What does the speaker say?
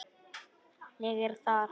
Ég er þar.